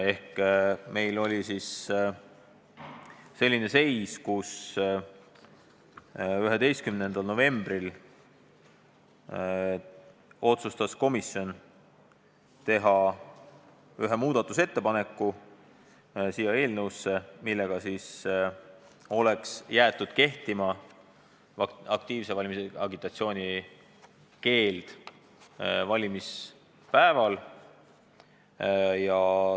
Seega oli meil selline seis, et 11. novembril otsustas komisjon teha eelnõusse ühe muudatusettepaneku, millega jääks aktiivse valimisagitatsiooni keeld valimispäeval kehtima.